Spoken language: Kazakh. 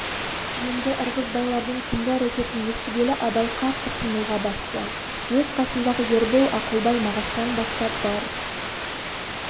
енді ырғызбайлардың түнгі әрекетін естігелі абай қатты қимылға басты өз қасындағы ербол ақылбай мағаштан бастап бар